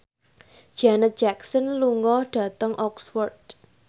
Janet Jackson lunga dhateng Oxford